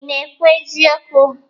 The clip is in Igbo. Ị na-ekwu eziokwu?